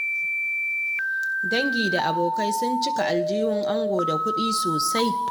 Dangi da abokai sun cika aljihun ango da kuɗi sosai.